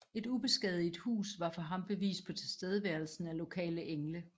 Et ubeskadiget hus var for ham bevis på tilstedeværelsen af lokale engle